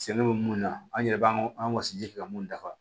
Sɛnɛ bɛ mun na an yɛrɛ b'an an ka wasi kɛ ka mun dafa